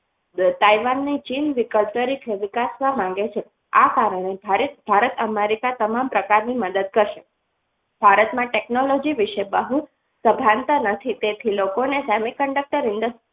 તાઇવાનની ચીન વિકલ્પ તરીકે વિકાસવા માંગે છે આ કારણે ભારત અમેરિકા તમામ પ્રકારની મદદ કરશે ભારતમાં technology વિશે બહુ સભાનતા નથી તેથી લોકોને semiconductor industries